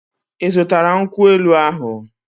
Ị zụtara nkwụ elu ahụ?